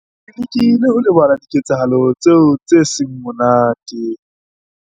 Ke lekile ho lebala diketsahalo tseo tse seng monate.